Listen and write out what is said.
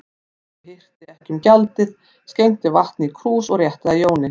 Bóndi hirti ekki um gjaldið, skenkti vatni í krús og rétti að Jóni.